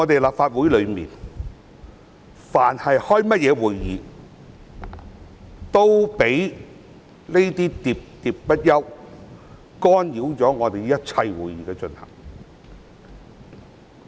立法會但凡召開任何會議，都會被那些喋喋不休的議員，干擾會議進行。